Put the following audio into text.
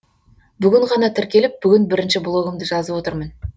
бүгін ғана тіркеліп бүгін бірінші блогымды жазып отырмын